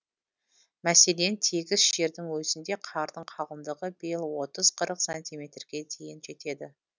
мәселен тегіс жердің өзінде қардың қалыңдығы биыл отыз қырық сантиметрге дейін жетеді